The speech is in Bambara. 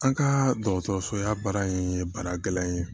An ka dɔgɔtɔrɔso la baara in ye baara gɛlɛn ye